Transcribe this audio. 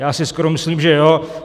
Já si skoro myslím, že jo.